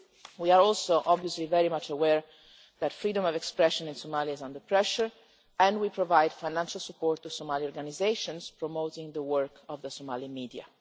We are also, obviously, very much aware that freedom of expression in Somalia is under pressure and we provide financial support to Somali organisations promoting the work of the Somalian media.